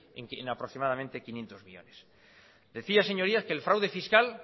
en aproximadamente quinientos millónes decía señorías que el fraude fiscal